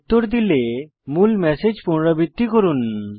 উত্তর দিলে মূল ম্যাসেজ পুনরাবিত্তি করুন